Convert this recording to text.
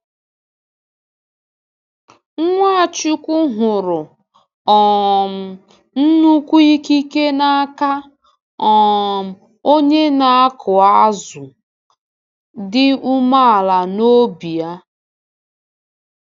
Nwachukwu hụrụ um nnukwu ikike n’aka um onye na-akụ azụ dị umeala n’obi a.